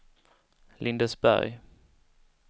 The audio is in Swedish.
Lindesberg